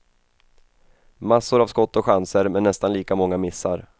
Massor av skott och chanser, men nästan lika många missar.